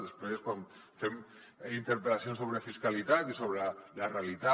després quan fem interpel·lacions sobre fiscalitat i sobre la realitat